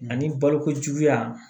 Ani balokojuguya